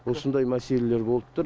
осындай мәселелер болып тұр